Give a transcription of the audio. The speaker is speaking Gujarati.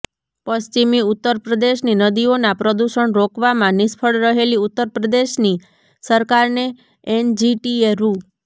પશ્ચિમી ઉત્તર પ્રદેશની નદીઓનાં પ્રદૂષણ રોકવામાં નિષ્ફળ રહેલી ઉત્તર પ્રદેશની સરકારને એનજીટીએ રૂ